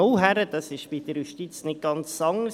Bei der Justiz ist dies nicht ganz anders.